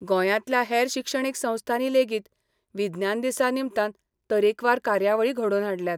गोंयांतल्या हेर शिक्षणीक संस्थांनी लेगीत विज्ञान दिसा निमतान तरेकवार कार्यावळी घडोवन हाडल्यात.